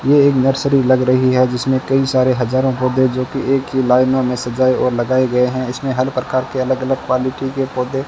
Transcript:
ये एक नर्सरी लग रही है जिसमें कई सारे हजारों पौधे जो कि एक ही लाइनों में सजाए और लगाए गए हैं इसमें हर प्रकार के अलग अलग क्वालिटी के पौधे --